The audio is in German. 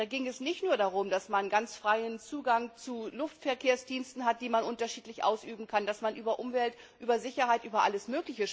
Da ging es nicht nur darum, dass man ganz freien Zugang zu Luftverkehrsdiensten hat, die man unterschiedlich ausüben kann, dass man über Umwelt, über Sicherheit usw.